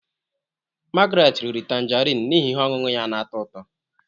Margret riri tanjarin n'ihi ihe ọṅụṅụ ya na-atọ ụtọ.